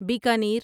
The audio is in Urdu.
بیکانیر